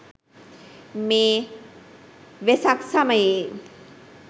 මේ වෙසක් සමයේ